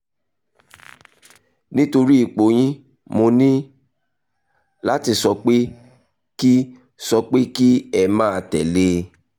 nítorí ipò yín mo ní láti sọ pé kí sọ pé kí ẹ máa tẹ̀ lé e